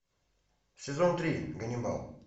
сезон три ганнибал